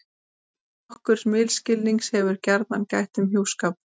Nokkurs misskilnings hefur gjarnan gætt um hjúskap.